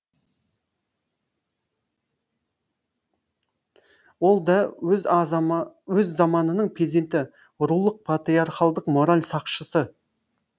ол да өз заманының перзенті рулық патриархалдық мораль сақшысы